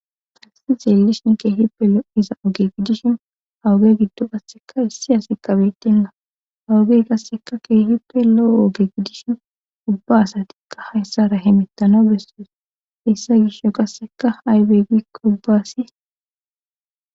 Fassi xeelishin keehippe loo7iza oge gidishin hawuge giddo basseka issi hasi qabetinna hawugey qasseka keehippe lo7o oge gidishin ubba asatikka hayssa ra hemettano bessoes issa gisho qasseka haybe gikoubbaasi.